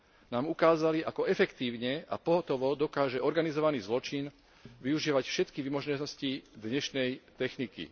nám ukázalo, ako efektívne a pohotovo dokáže organizovaný zločin využívať všetky vymoženosti dnešnej techniky.